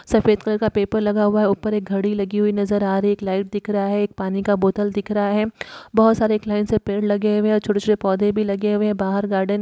सफ़ेद कलर का पेपर लगा हुआ है ऊपर एक घड़ी लगी हुई नजर आ रही है। एक लाइट दिख रहा है। एक पानी का बोतल दिख रहा है। बहुत सारे एक लाइन से पेड़ लगे हुए है छोटे-छोटे पोधे भी लगे हुए है। बाहर गार्डन --